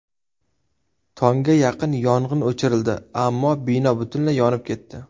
Tongga yaqin yong‘in o‘chirildi, ammo bino butunlay yonib ketdi.